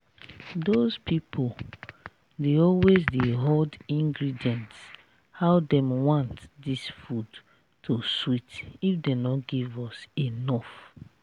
doz people dey always dey horde ingredients how dem want dis food to sweet if dem no give us enough